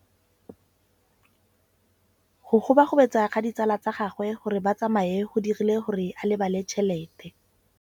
Go gobagobetsa ga ditsala tsa gagwe, gore ba tsamaye go dirile gore a lebale tšhelete.